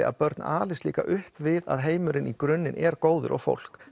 að börn alist líka upp við að heimurinn í gruninn er góður og fólk